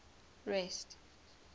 rest